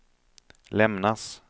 lämnas